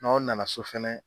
N_aw nana so fɛnɛ